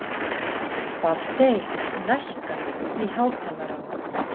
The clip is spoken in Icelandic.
Baldey, lækkaðu í hátalaranum.